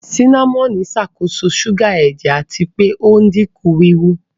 Sínámọ́nì ń ṣàkóso ṣúgà ẹ̀jẹ̀ àti pé ò ń dínkù wíwú